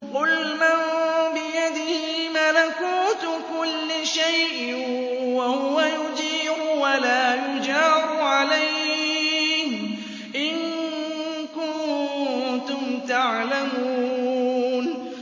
قُلْ مَن بِيَدِهِ مَلَكُوتُ كُلِّ شَيْءٍ وَهُوَ يُجِيرُ وَلَا يُجَارُ عَلَيْهِ إِن كُنتُمْ تَعْلَمُونَ